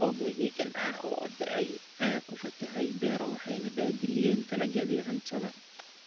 Roobab mahiigaan ah oo da�ay ayaa ku fatahay beero waxayna baabi�iyeen dalagyadii cuntada.